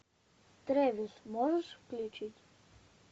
трэвис можешь включить